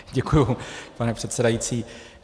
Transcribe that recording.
Děkuju, pane předsedající.